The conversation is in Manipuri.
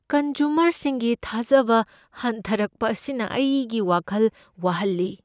ꯀꯟꯖꯨꯃꯔꯁꯤꯡꯒꯤ ꯊꯥꯖꯕ ꯍꯟꯊꯔꯛꯄ ꯑꯁꯤꯅ ꯑꯩꯒꯤ ꯋꯥꯈꯜ ꯋꯥꯍꯜꯂꯤ ꯫